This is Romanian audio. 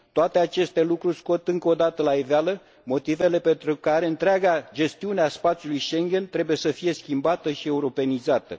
Toate aceste lucruri scot încă o dată la iveală motivele pentru care întreaga gestiune a spațiului Schengen trebuie să fie schimbată și europenizată.